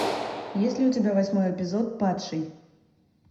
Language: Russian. есть ли у тебя восьмой эпизод падший